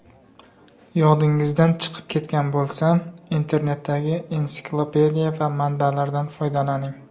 Yodingizdan chiqib ketgan bo‘lsa, internetdagi ensiklopediya va manbalardan foydalaning.